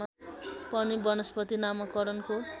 पनि वनस्पति नामकरणको